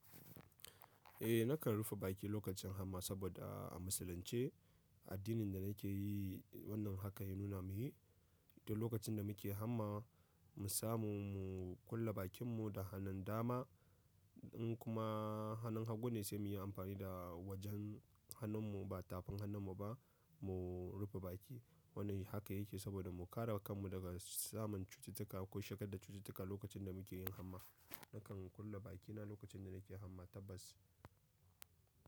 Eh nakan rufe baki lokacin hamma saboda a musulunce addinin da nake yi wannan haka ya nuna mu yi. To lokacin da muke hamma mu samu mu kulle bakinmu da hanun dama in kuma hanun hagu ne sai muyi amfani da wajen hanun mu ba tafin hanun mu ba mu rufe baki. Wannan haka yake saboda mu kare kanmu daga samun cututtuka ko shigar da cututtuka lokacin da muke yin hamma. Nakan kulle bakina lokacin da nake hamma tabbas.